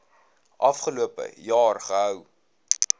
afgelope jaar gehou